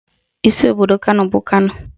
Isi obodo Kano bụ Kano